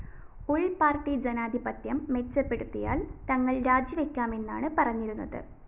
ഉള്‍പ്പാര്‍ട്ടി ജനാധിപത്യം മെച്ചപ്പെടുത്തിയാല്‍ തങ്ങള്‍ രാജിവയ്ക്കാമെന്നാണ് പറഞ്ഞിരുന്നത്